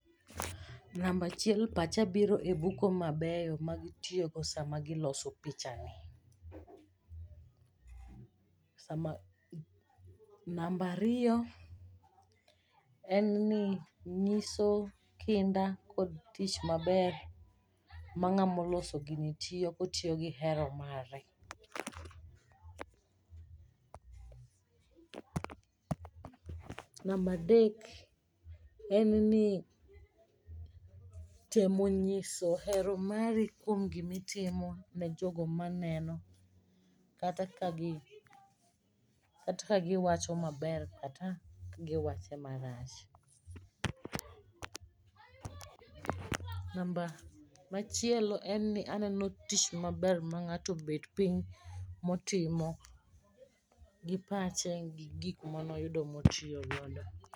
Namba achiel pacha biro e buko mabeyo ma gitiyogo sama giloso pichani. Namba ariyo, en ni nyiso kinda kod tich maber ma ng'amo loso gini tiyo kotiyo gi hero mare. Namba adek, en ni temo nyiso hero mari kuom gimitimo ne jogo maneno kata ka gi wacho maber kata giwache marach. Machielo ne ni aneno tich maber ma ng'ato obet piny motimo gi pache gi gik mane oyudo motiyo godo.